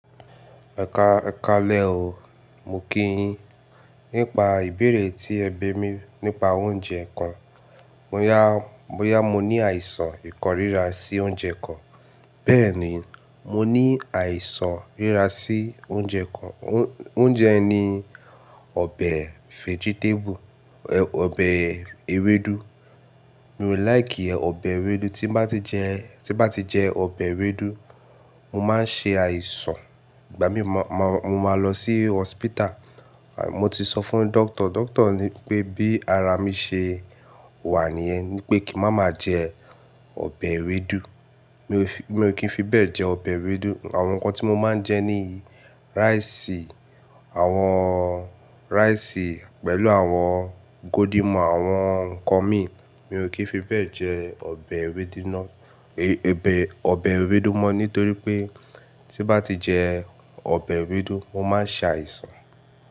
Ẹka kalẹ̀ o, mo kí yín. Nípa ìbéèrè tí ẹ bi mi nípa oúnjẹ kàn. Bó yá, bó yá, mo ní àìsàn ìkórira sí oúnjẹ kàn. Bẹ́ẹ̀ ni mo ní àìsàn ìkórira sí oúnjẹ kan. Oúnjẹ yi ni ọbẹ̀ fẹ́gítébù, ọbẹ̀ ewédú. Mi ò like ọbẹ̀ ewédú. Tí n bá ti jẹ, tí n bá ti jẹ ọbẹ̀ ewédú, mo máa ń ṣe àìsàn. Ìgbà mí mo máa, mo máa lọ sí hospital. Mo ti sọ fún doctor, doctor ní pé bí ara mi ṣe wà níyẹn, ní pé kí n má ma jẹ ọbẹ̀ ewédú. Mi ò kí n fi bẹ́ẹ̀ jẹ ọbẹ̀ ewédú. Àwọn nǹkan tí mo máa ń jẹ ní rice, àwọn rice pẹ̀lú àwọn golden more, àwọn nǹkan míì. Mi ò kí fi bẹ́ẹ̀ jẹ ọbẹ̀ ewédú ná, ẹbẹ, ọbẹ̀ ewédú mọ́. Nítorí pé tí n bá ti jẹ ọbẹ̀ ewédú, mo máa ṣe àìsàn.